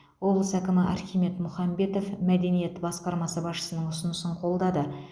облыс әкімі архимед мұхамбетов мәдениет басқармасы басшысының ұсынысын қолдады